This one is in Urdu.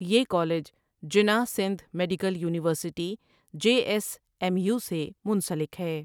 یہ college Jinnah Sindh medical university J S M U سے منسلک ہے۔